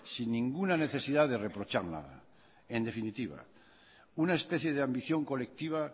sin ninguna necesidad de reprochar nada en definitiva una especie de ambición colectiva